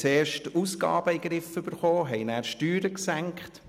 Zuerst bekamen wir die Ausgaben in Griff, dann senkten wir die Steuern.